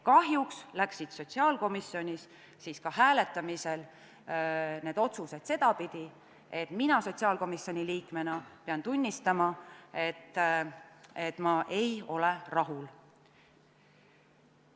Kahjuks läksid sotsiaalkomisjonis ka hääletamisel need otsused sedapidi, et mina sotsiaalkomisjoni liikmena pean tunnistama, et ma ei ole rahul.